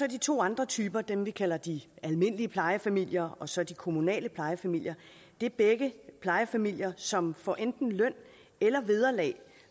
de to andre typer dem vi kalder de almindelige plejefamilier og så de kommunale plejefamilier det er begge plejefamilier som får enten løn eller vederlag